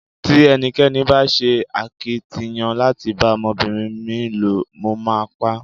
Tí ẹnikẹ́ni bá ṣe akitiyan láti bá ọmọbìnrin mi ló, mo máa pá.